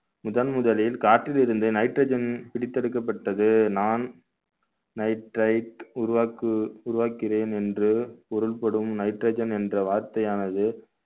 முதன் முதலில் காற்றில் இருந்த nitrogen பிரித்தெடுக்கப்பட்டது non nitrite உருவாக்கு~ உருவாக்கினேன் என்று பொருள்படும் nitrogen என்ற வார்த்தையானது